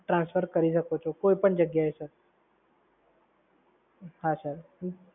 transfer કરી શકો છો કોઈ પણ જગ્યાએ સર. હા સર.